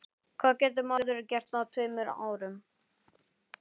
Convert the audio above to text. Það var rigning og skyggni lélegt.